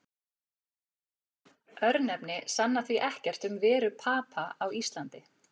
Örnefni sanna því ekkert um veru Papa á Íslandi.